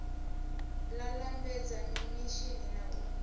la lambedza mimishini na u